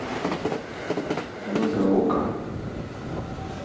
нагаока